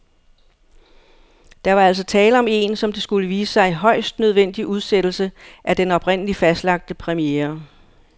Der var altså tale om en, som det skulle vise sig, højst nødvendig udsættelse af den oprindeligt fastlagte premiere.